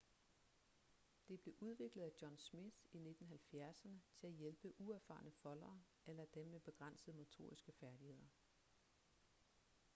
det blev udviklet af john smith i 1970'erne til at hjælpe uerfarne foldere eller dem med begrænsede motoriske færdigheder